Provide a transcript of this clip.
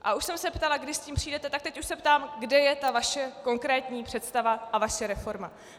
A už jsem se ptala, kdy s tím přijdete, tak teď už se ptám, kde je ta vaše konkrétní představa a vaše reforma.